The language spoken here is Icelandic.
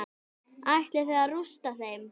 Ætlið þið að rústa þeim?